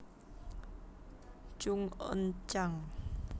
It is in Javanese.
Chung Un chan